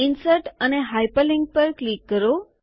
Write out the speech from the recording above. insert અને hyperlink પર click કરો